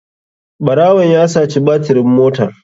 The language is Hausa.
Ɓarawon ya saci batirin motar.